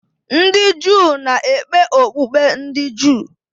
Ndị Juu na-ekpe okpukpe ndị Juu.